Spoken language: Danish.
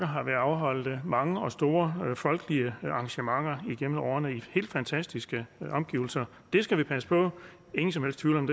har været afholdt mange og store folkelige arrangementer igennem årene i helt fantastiske omgivelser det skal vi passe på ingen som helst tvivl om